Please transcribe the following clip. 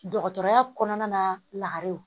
Dɔgɔtɔrɔya kɔnɔna na lakare